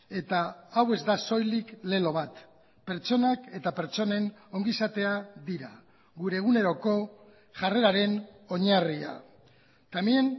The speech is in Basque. eta hau ez da soilik lelo bat pertsonak eta pertsonen ongizatea dira gure eguneroko jarreraren oinarria también